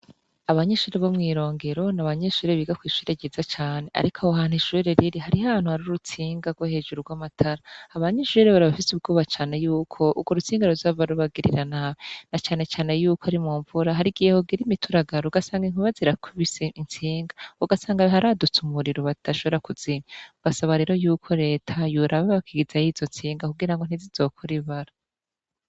abanyeshure bo mw'irongero, ni abanyeshure biga ku ishure ryiza cane, ariko aho hantu ishure riri hariho ahantu hari urutsinga rwo hejuru rw'amatara, abanyeshure rero bari bafise ubwoba cane yuko urwo rutsinga ruzohava rubagirira nabi, na cane cane yuko ari mu mvura, hari igihe hogira imituragaro ugasanga inkuba zirakubise intsinga, ugasanga haradutse umuriro badashobora kuzimya. basaba rero yuko Leta yoraba bakigizayo izo ntsinga kugira ngo ntizizokore ibara.